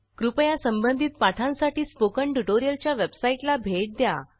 कृपया संबंधित पाठांसाठी स्पोकन ट्युटोरियलच्या वेबसाईटला भेट द्या